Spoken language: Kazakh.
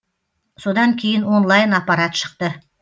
содан кейін онлайн аппарат шықты